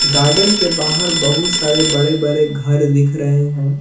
Garden के बाहर बहुत सारे बड़े बड़े घर दिख रहे हैं।